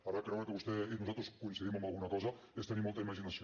ara creure que vostès i nosaltres coincidim en alguna cosa és tenir molta imaginació